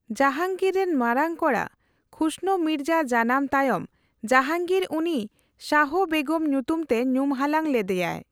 ᱡᱟᱦᱟᱝᱜᱤᱨ ᱨᱮᱱ ᱢᱟᱨᱟᱝ ᱠᱚᱲᱟ ᱠᱷᱩᱥᱨᱳ ᱢᱤᱨᱡᱟ ᱡᱟᱱᱟᱢ ᱛᱟᱭᱚᱢ ᱡᱟᱦᱟᱝᱜᱤᱨ ᱩᱱᱤ ᱥᱟᱦᱚ ᱵᱮᱜᱚᱢ ᱧᱩᱛᱩᱢ ᱛᱮ ᱧᱩᱢᱦᱟᱞᱟᱝ ᱞᱮᱫᱭᱟ ᱾